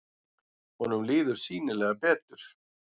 Honum líður sýnilega betur.